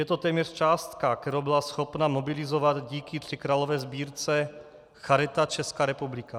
Je to téměř částka, kterou byla schopna mobilizovat díky tříkrálové sbírce Charita Česká republika.